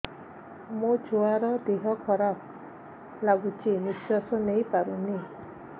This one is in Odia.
ମୋ ଛୁଆର ଦିହ ଖରାପ ଲାଗୁଚି ନିଃଶ୍ବାସ ନେଇ ପାରୁନି